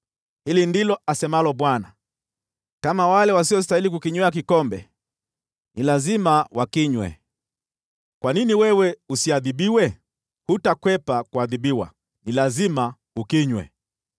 Hili ndilo asemalo Bwana : “Kama wale wasiostahili kukinywea kikombe ni lazima wakinywe, kwa nini wewe usiadhibiwe? Hutakwepa kuadhibiwa, ni lazima ukinywe.